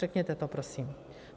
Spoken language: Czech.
Řekněte to prosím.